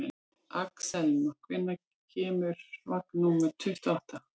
Axelma, hvenær kemur vagn númer tuttugu og átta?